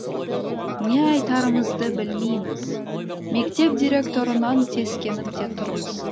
не айтарымызды білмейміз мектеп директорынан сескеніп те тұрмыз